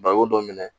Baro dɔ minɛ